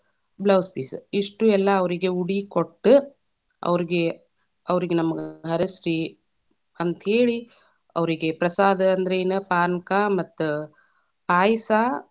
Blouse piece , ಇಷ್ಟು ಎಲ್ಲಾ ಅವ್ರೀಗೆ ಉಡಿಕೊಟ್ಟ, ಅವ್ರೀಗೆ, ಅವ್ರೀಗೆ ನಮಗ್‌ ಹರಸ್ರಿ, ಅಂತ ಹೇಳಿ ಅವ್ರೀಗೆ ಪ್ರಸಾದ ಅಂದ್ರ ಏನ ಪಾನಕ ಮತ್ತ ಪಾಯಸಾ.